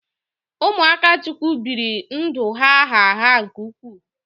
Ụmụ Akachukwu biri ndụ gha gha gha nke ukwuu.